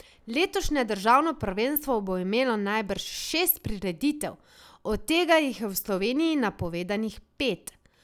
Letošnje državno prvenstvo bo imelo najbrž šest prireditev, od tega jih je v Sloveniji napovedanih pet.